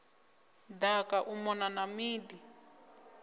daka u mona na midi